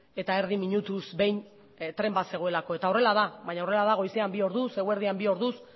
eta erdi minutuz behin tren bazegoelako eta horrela da baina horrela da goizean bi orduz eguerdian bi orduz